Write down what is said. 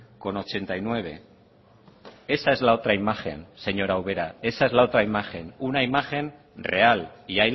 coma ochenta y nueve esa es la otra imagen señora ubera esa es la otra imagen una imagen real y